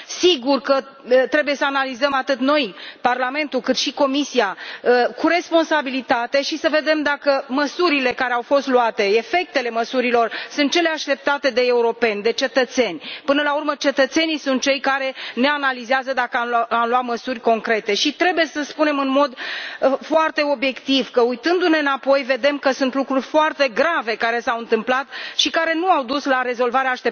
Sigur că trebuie să analizăm atât noi, Parlamentul, cât și Comisia, cu responsabilitate și să vedem dacă măsurile care au fost luate efectele măsurilor sunt cele așteptate de europeni, de cetățeni. Până la urmă, cetățenii sunt cei care ne analizează dacă am luat măsuri concrete și trebuie să spunem în mod foarte obiectiv că, uitându ne înapoi, vedem că sunt lucruri foarte grave care s au întâmplat și care nu au dus la rezolvarea